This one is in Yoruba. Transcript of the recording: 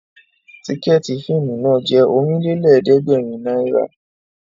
Tìkẹ̀ẹ̀tí fíìmù náà jẹ́ Ọ̀rìnlélẹ̀ẹ̀dẹ́gbèrin náírà